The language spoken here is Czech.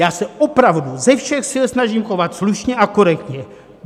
Já se opravdu ze všech sil snažím chovat slušně a korektně.